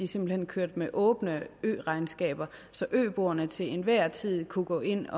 simpelt hen kørte med åbne øregnskaber så øboerne til enhver tid kunne gå ind at